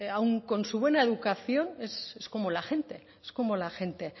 aún con su buena educación es como la gente es como la gente